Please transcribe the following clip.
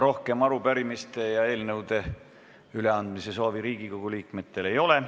Rohkem arupärimiste ja eelnõude üleandmise soove ei ole.